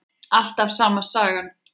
Alltaf sama sagan.